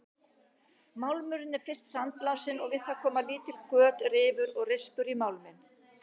Málmurinn er fyrst sandblásinn og við það koma lítil göt, rifur og rispur í málminn.